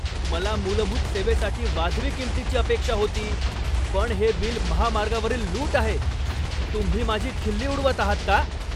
मला मूलभूत सेवेसाठी वाजवी किंमतीची अपेक्षा होती, पण हे बिल महामार्गावरील लूट आहे! तुम्ही माझी खिल्ली उडवत आहात का?